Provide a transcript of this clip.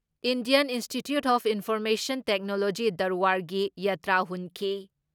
Indian Institute of Information Technology ꯗꯔꯋꯥꯔꯒꯤ ꯌꯥꯇ꯭ꯔꯥ ꯍꯨꯟꯈꯤ